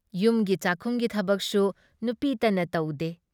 ꯌꯨꯝꯒꯤ ꯆꯥꯛꯈꯨꯝꯒꯤ ꯊꯕꯛꯁꯨ ꯅꯨꯄꯤꯇꯅ ꯇꯧꯗꯦ ꯫